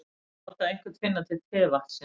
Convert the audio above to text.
Að láta einhvern finna til tevatnsins